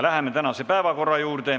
Läheme tänase päevakorra juurde.